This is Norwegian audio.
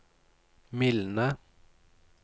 mildne